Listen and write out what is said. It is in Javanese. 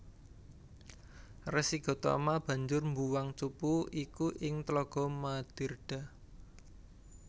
Resi Gotama banjur mbuwang cupu iku ing tlaga Madirda